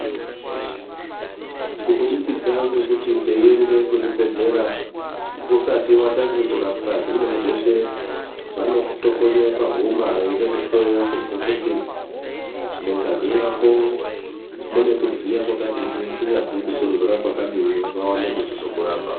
Kubudikidza ngekuti teiende kuzvibhedlera, usati watange kurapwa zvimweni zveshe vanokutokonye pahuma veida kuhloya kuzwe kuti mungazi mwako mune kudziya kwakadii kunyazwi kutonhora kwakadii vawane kuchizokurapa.